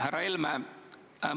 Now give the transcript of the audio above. Härra Helme!